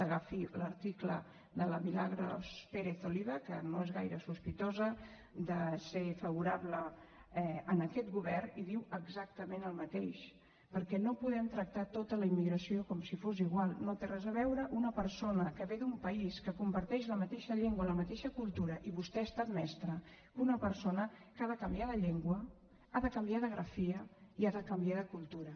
agafi l’article de la milagros pérez oliva que no és gaire sospitosa de ser favorable a aquest govern i diu exactament el mateix perquè no podem tractar tota la immigració com si fos igual no té res a veure una persona que ve d’un país que comparteix la mateixa llengua la mateixa cultura i vostè ha estat mestra que una persona que ha de canviar de llengua ha de canviar de grafia i ha de canviar de cultura